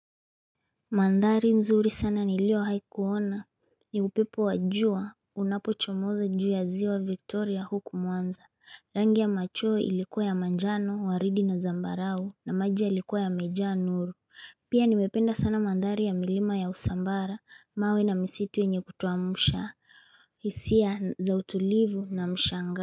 Mandhari nzuri sana niliohai kuona, ni upepo wa jua, unapochomoza juu ya ziwa Victoria huku mwanza, rangi ya machui ilikuwa ya manjano, waridi na zambarau na maji yalikuwa yamejaa nuru, pia nimependa sana mandhari ya milima ya usambara, mawe na misitu enye kutuamusha, hisia za utulivu na mshanga.